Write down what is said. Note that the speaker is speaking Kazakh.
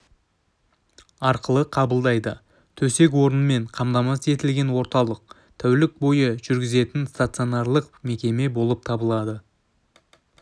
арқылы қабылдайды төсек орынмен қамтамасыз етілген орталық тәулік бойы жұмыс жүргізетін стационарлық мекеме болып табылады